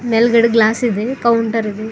ಮೇಲ್ಗಡೆ ಗ್ಲಾಸ್ ಇದೆ ಕೌಂಟರ್ ಇದೆ.